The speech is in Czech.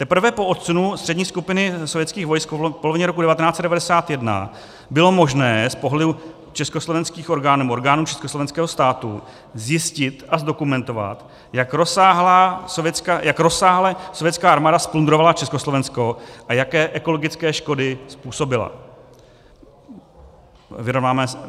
Teprve po odsunu Střední skupiny sovětských vojsk v polovině roku 1991 bylo možné z pohledu československých orgánů, orgánů československého státu, zjistit a zdokumentovat, jak rozsáhle sovětská armáda zplundrovala Československo a jaké ekologické škody způsobila.